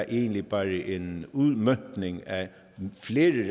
egentlig bare er en udmøntning af flere